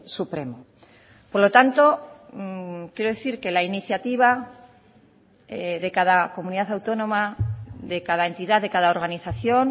supremo por lo tanto quiero decir que la iniciativa de cada comunidad autónoma de cada entidad de cada organización